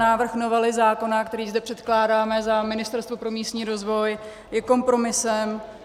Návrh novely zákona, který zde předkládáme za Ministerstvo pro místní rozvoj, je kompromisem.